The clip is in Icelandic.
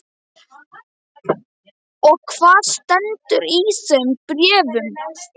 Og hvað stendur í þeim bréfum?